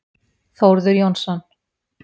Þórður Jónsson.